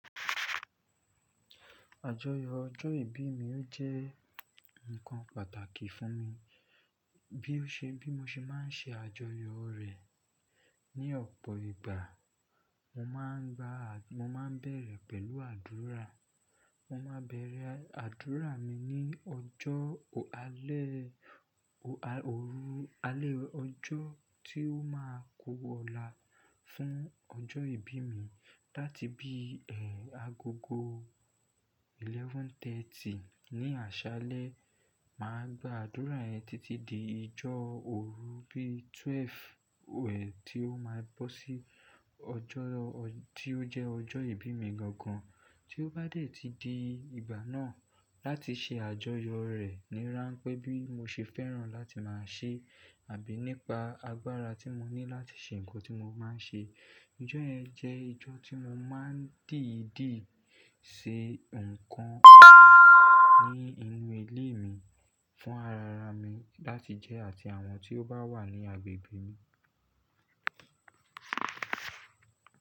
Àjọyọ̀ ọjọ́ ìbí mi ó jẹ́ ǹkan pàtàkì fún mi. Bí ó ṣe bí mo ṣe máa ń ṣe àjọyọ̀ rẹ̀. Ni ọ̀pọ̀ ìgbà mo máa ń gba-- mo máa bẹ̀rẹ̀ pẹ̀lú àdúrà. Mo máa bẹ̀rẹ̀ àdúrà mi ní ọjọ́ alẹ́, o a-- òru alẹ́ ọjọ́ tí ó máa ku ọ̀la fún ọjọ́ ìbí mi. Láti bí, ẹ́, agogo mọ́kànlá àbọ̀ ní àṣálẹ́, màá gba àdúrà yẹn títí di ìjọ òru bí méjìlá wẹ̀ tí ó máa bọ́ sí ọjọ́ ọ-- tí ó jẹ́ ọjọ́ ìbí mi gan gan. Tí ó bá dé tí di ìgbà náà láti ṣe àjọyọ̀ rẹ̀ ni ránpẹ́ bí mo ṣe fẹ́ràn láti máa ṣe àbí nípa agbára tí mo ní láti ṣe ǹkan tí mo máa ń ṣe. Ọjọ́ yẹn jẹ́ ọjọ́ tí mo máa ń dìdí ṣe ǹkan ní inú ilé mi fún ara ara mi láti jẹ́ àti àwọn tí ó bá wà ní agbègbè mi.